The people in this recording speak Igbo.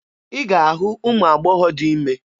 Ị ga-ahụ ụmụ agbọghọ dị ime.